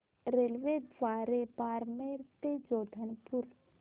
रेल्वेद्वारे बारमेर ते जोधपुर